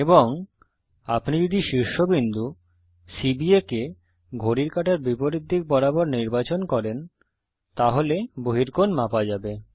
এবং আপনি যদি শীর্ষবিন্দু সিবিএ কে ঘড়ির কাঁটার বিপরীত দিক বরাবর নির্বাচন করেন তাহলে বহিকোণ মাপা যাবে